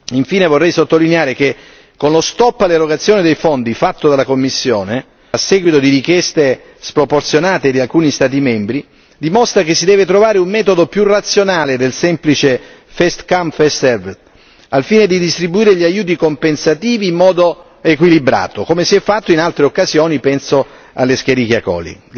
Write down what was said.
Infine vorrei sottolineare che lo stop all'erogazione dei fondi fatto dalla Commissione a seguito di richieste sproporzionate di alcuni Stati membri dimostra che si deve trovare un metodo più razionale del semplice first come first served al fine di distribuire gli aiuti compensativi in modo equilibrato come si è fatto in altre occasioni, penso all'escherichia coli.